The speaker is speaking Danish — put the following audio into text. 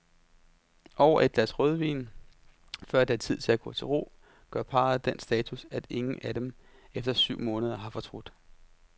Over et glas rødvin, før det er tid at gå til ro, gør parret den status, at ingen af dem efter syv måneder har fortrudt.